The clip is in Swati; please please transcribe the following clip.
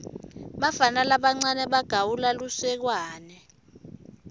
bafana labancane bagawula lusekwane